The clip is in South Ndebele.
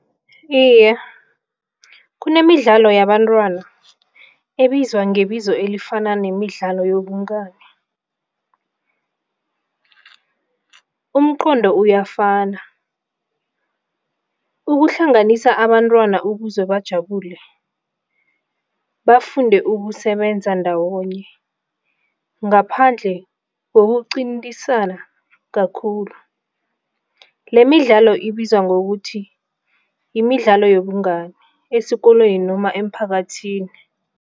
Iye, kunemidlalo yabantwana ebizwa ngebizo elifanako nemidlalo yobungani umqondo uyafana. Ukuhlanganisa abantwana ukuze bajabule, bafunde ukusebenza ndawonye ngaphandle kokuqintisana kakhulu, lemidlalo ibizwa ngokuthi yimidlalo yobungani esikolweni noma emphakathini.